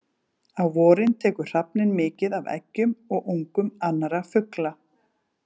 Á vorin tekur hrafninn mikið af eggjum og ungum annarra fugla.